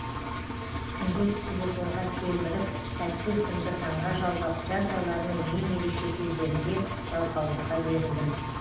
түнде телефонға телміріп тәтті ұйқымды таңға жалғап жаз айларының ең ерекше кездерінде жалқаулыққа берілдім